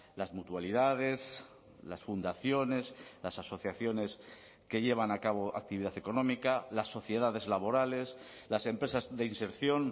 las mutualidades las fundaciones las asociaciones que llevan a cabo actividad económica las sociedades laborales las empresas de inserción